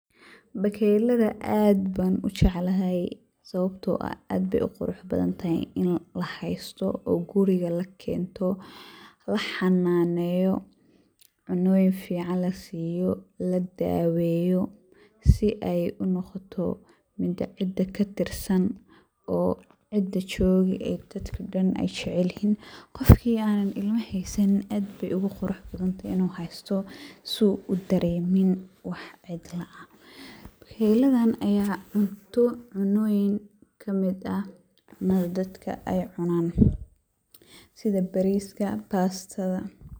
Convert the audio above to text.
Bakeyladaa aad baan ujeclahaay sawabtoo aah aad beey uu quruux badaan tahaay iin laa haystoo oo guriika laa keento laa xananeeyo cunoyiin ficaan laa siiyo laa daaweyo sii ey uu noqotoo miid a ciida kaa tirsaan oo ciida jogoo ee dadkaa dhaan aay jeceel yihiin. qofkii anaan ilmaa haysaanin aad beey ogu quruux badan taahay inu haystoo sii uu daremiin waax cidlaa aah. bakeylaadan ayaa cuunto cunoyiin kamiid aah cunadaa dadkaa eey cunaan sidaa bariskaa, bastaada.